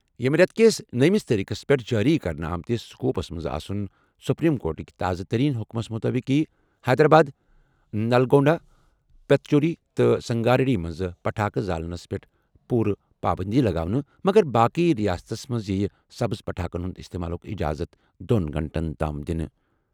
ییٚمہِ رٮ۪تہٕ کِس نٔیِمہِ تٲریخَس پٮ۪ٹھ جٲری کرنہٕ آمتِس سکوپس منٛز آسُن۔ سپریم کورٹٕکۍ تازٕ ترین حُکمَس مُطٲبِق یِیہِ حیدرآباد، نلگونڈا، پتنچیرو تہٕ سنگاریڈی منٛز پٹاخہٕ زالنس پٮ۪ٹھ پوٗرٕ پابٔنٛدی لگاونہٕ مگر باقی ریاستَس منٛز یِیہِ سبز پٹاخن ہٕنٛدِ استعمالُک اجازت دۄن گھنٹَن تام دنہٕ۔